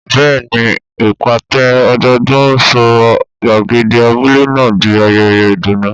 Bẹ́ẹ̀ni, ìpàtẹ ọdọọdún sọ gbàgede abúlé náà di ayẹyẹ ìdùnnú.